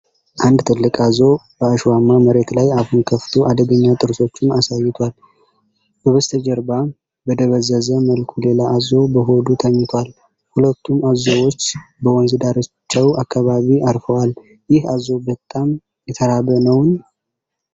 አንድ ትልቅ አዞ በአሸዋማ መሬት ላይ አፉን ከፍቶ አደገኛ ጥርሶቹን አሳይቷል። በስተጀርባ በደበዘዘ መልኩ ሌላ አዞ በሆዱ ተኝቷል። ሁለቱም አዞዎች በወንዝ ዳርቻው አካባቢ አርፈዋል። ይህ አዞ በጣም የተራበ ነውን?